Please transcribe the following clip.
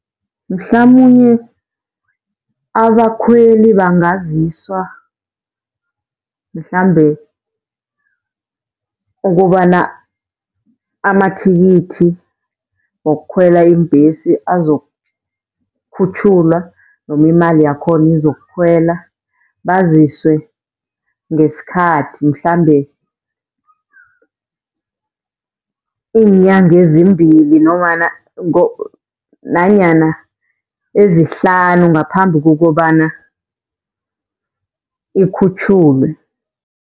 Mhlamunye abakhweli bangaziswa, mhlambe ukobana amathikithi wokukhwela iimbhesi azokukhutjhulwa noma imali yakhona izokukhwela. Baziswe ngesikhathi mhlambe iinyanga ezimbili nanyana ezihlanu ngaphambi kokobana ikhutjhulwe.